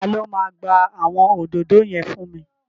Ta ló máa gba àwọn òdòdó yẹn fún mi?